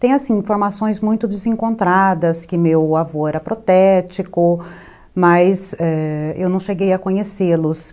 Tem informações muito desencontradas, que meu avô era protético, mas ãh eu não cheguei a conhecê-los.